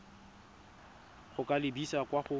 go ka lebisa kwa go